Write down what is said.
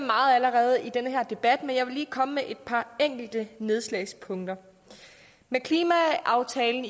meget allerede i den her debat men jeg vil lige komme med et par enkelte nedslagspunkter med klimaaftalen